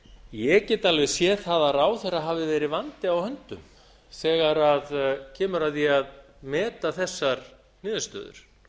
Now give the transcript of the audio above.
ég get alveg séð það að ráðherra hafi verið vandi á höndum þegar kemur að því að meta þessar niðurstöður